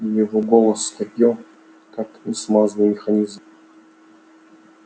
его голос скрипел как несмазанный механизм